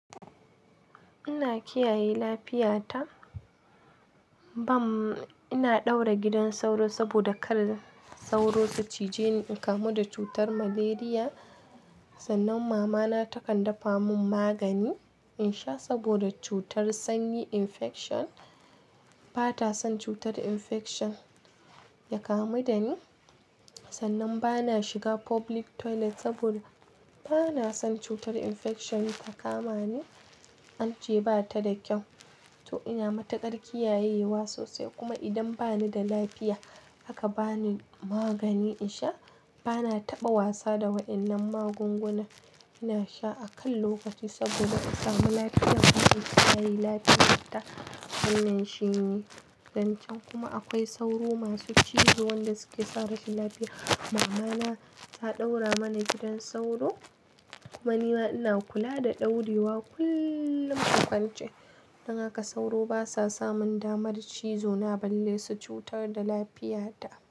Ina kiyaye lafiyata bam ina daura gidan sauro saboda kar sauro su cije ni in kamu da cutar malaria. Sannan mama na takan dafa mun magani in sha saboda cutar sanyi infection bata son cutar infection ya kamu da ni. Sannan bana shiga public toilet saboda bana son cutar infection ya kama ni, ance bata da kyau. To ina matukar kiyayewa sosai kuma idan bani da lafiya aka bani magani in sha bana taɓa wasa da waɗannan magunguna. Ina sha a kan lokaci saboda in samu lafiya. Zan kiyaye lafiyata, wannan shine zancen kuma akwai sauro masu cizo waɗanda suke sa rashin lafiya. Mama na ta ɗaura mana gidan sauro kuma nima ina kula da ɗaurewa kullum in kwance. Dan haka sauro basa samun damar cizo na balle su cutar da lafiyata.